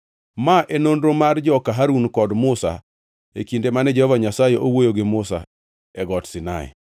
Ma e nonro mar joka Harun kod Musa e kinde mane Jehova Nyasaye owuoyo gi Musa e Got Sinai.